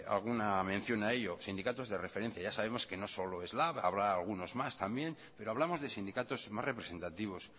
alguna mención a ello sindicatos de referencia ya sabemos que no solo es lab habrá algunos más también pero hablamos de sindicatos más representativos